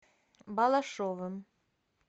балашовым